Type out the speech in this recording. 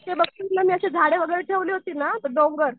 झाडे वगैरे ठेवलं होती ना तर डोंगर